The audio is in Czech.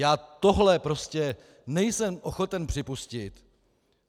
Já tohle prostě nejsem ochoten připustit.